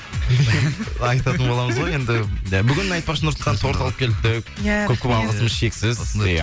айтатын боламыз ғой енді і бүгін айтпақшы нұрсұлтан торт алып келіпті иә көп көп алғысымыз шексіз иә